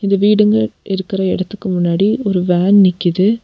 இந்த வீடுங்க இருக்கற எடத்துக்கு முன்னாடி ஒரு வேன் நிக்கிது.